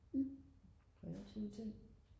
kreative ting